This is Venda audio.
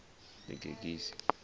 ḽigegise